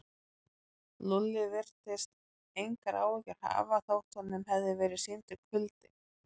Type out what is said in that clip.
Lúlli virtist engar áhyggjur hafa þótt honum hefði verið sýndur kuldi.